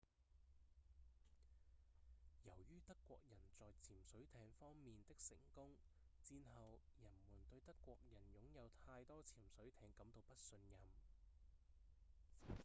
由於德國人在潛水艇方面的成功戰後人們對德國人擁有太多潛水艇感到不信任